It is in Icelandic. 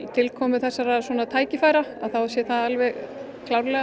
tilkomu þessara tækifæra þá sé það alveg klárlega